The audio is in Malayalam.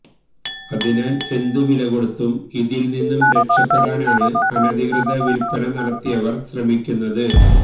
അതിനാൽ എന്തു വിലകൊടുത്തും ഇതിൽനിന്നു രക്ഷപ്പെടാനാണ് അനധികൃത വിൽപ്പന നടത്തിയവർ ശ്രമിക്കുന്നത്